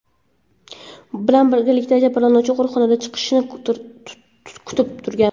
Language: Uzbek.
bilan birgalikda jabrlanuvchini qo‘riqxonadan chiqishini kutib turgan.